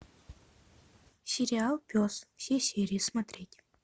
сериал пес все серии смотреть